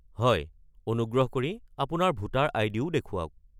হয়। অনুগ্ৰহ কৰি আপোনাৰ ভোটাৰ আই.ডি.-ও দেখুৱাওক।